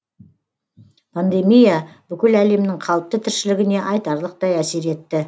пандемия бүкіл әлемнің қалыпты тіршілігіне айтарлықтай әсер етті